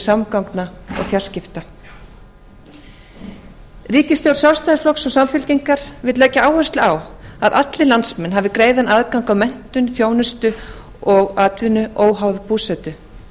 samgangna og fjarskipta ríkisstjórn sjálfstæðisflokks og samfylkingar vill leggja áherslu á að allir landsmenn hafi greiðan aðgang að menntun þjónustu og atvinnu óháð búsetu